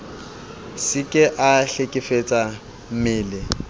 se ke a hlekefetsa mmeleng